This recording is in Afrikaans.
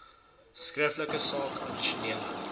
skriftelik saak addisionele